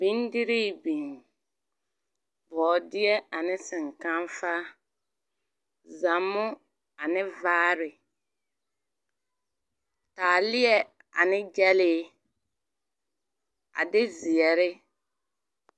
Bendirii biŋ, ka bɔɔdeɛ ane seŋkafa, zammo ane vaare. Taaleɛ ane gyɛlee a de ze1re.